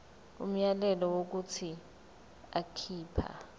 umyalelo wokuthi akhipha